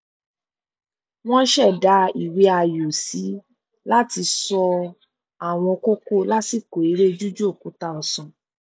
wọn ṣẹdá ìwé ayò sí láti ṣọ àwọn kókó lásìkò eré jíju òkúta ọsán